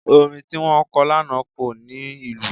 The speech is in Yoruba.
Orin tí wọ́n kọ lánàá kò ní ìlù.